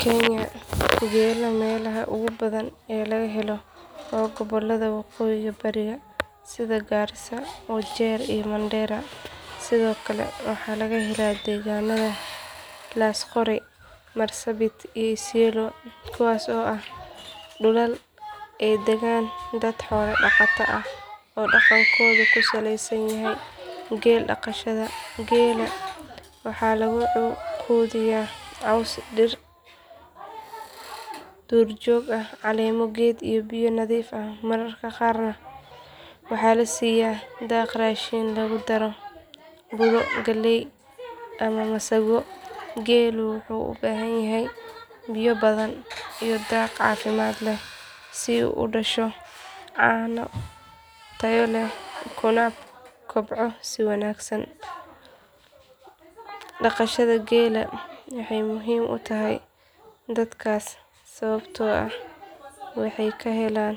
Kenya geela meelaha ugu badan ee laga helo waa gobollada waqooyi bari sida garissa wajir iyo mandera sidoo kale waxaa laga helaa deegaannada laasqoray marsabit iyo isiola kuwaas oo ah dhulal ay dagaan dad xoola dhaqata ah oo dhaqankoodu ku saleysan yahay geel dhaqashada geela waxaa lagu quudiyaa caws dhir duurjoog ah caleemo geed iyo biyo nadiif ah mararka qaarna waxaa la siiyaa daaq raashin lagu daraa budo galley ama masago geelu wuxuu u baahan yahay biyo badan iyo daaq caafimaad leh si uu u dhasho caano tayo leh kuna kobco si wanaagsan dhaqashada geela waxay muhiim u tahay dadkaas sababtoo ah waxay ka helaan